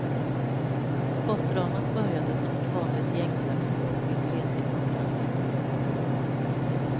Skottdramat började som ett vanligt gängslagsmål vid tretiden på natten.